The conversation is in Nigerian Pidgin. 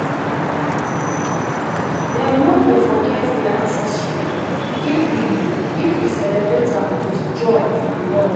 dem no go forget their ancestry if we if we celebrate am with joy and love.